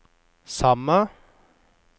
samme